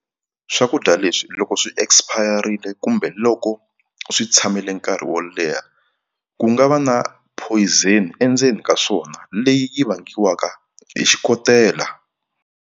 Swakudya leswi loko swi expire-ile kumbe loko swi tshamile nkarhi wo leha ku nga va na poison endzeni ka swona leyi yi vangiwaka hi xikotela.